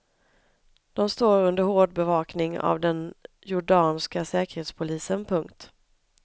De står under hård övervakning av den jordanska säkerhetspolisen. punkt